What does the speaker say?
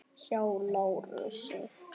Hjá Lárusi.